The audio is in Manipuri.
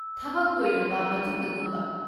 ꯊꯕꯛ ꯂꯣꯏꯔꯕ ꯃꯇꯨꯡꯗꯒꯨꯝꯕ?